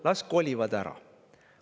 –, on see, et las kolivad ära.